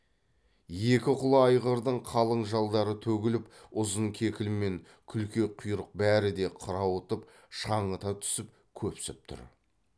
екі құла айғырдың қалың жалдары төгіліп ұзын кекіл мен күлте құйрық бәрі де қырауытып шаңыта түсіп көпсіп тұр